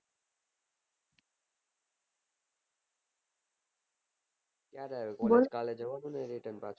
કરે આવીયો કાલે જવાનું ની કે